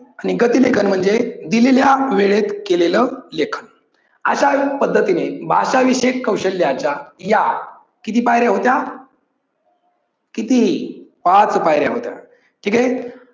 आणि गती लेखन म्हणजे दिलेल्या वेळेत केलेल लेखन. अश्या पद्धतीने भाषा विषयक कौशल्याचा या किती पायऱ्या होत्या? किती? पाच पायऱ्या होत्या. ठीक आहे.